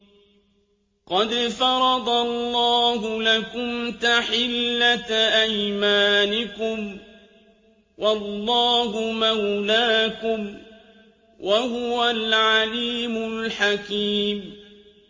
قَدْ فَرَضَ اللَّهُ لَكُمْ تَحِلَّةَ أَيْمَانِكُمْ ۚ وَاللَّهُ مَوْلَاكُمْ ۖ وَهُوَ الْعَلِيمُ الْحَكِيمُ